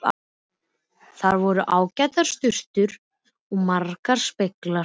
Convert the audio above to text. Þar voru ágætar sturtur og margir speglar!